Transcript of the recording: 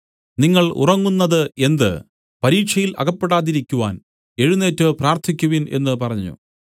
നിങ്ങൾ ഉറങ്ങുന്നത് എന്ത് പരീക്ഷയിൽ അകപ്പെടാതിരിക്കുവാൻ എഴുന്നേറ്റ് പ്രാർത്ഥിക്കുവിൻ എന്നു പറഞ്ഞു